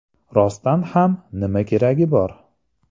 Rostdan ham, nima keragi bor?